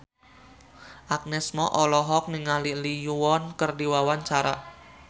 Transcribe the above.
Agnes Mo olohok ningali Lee Yo Won keur diwawancara